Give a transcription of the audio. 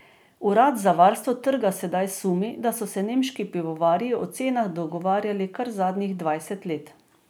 Urad za varstvo trga sedaj sumi, da so se nemški pivovarji o cenah dogovarjali kar zadnjih dvajset let.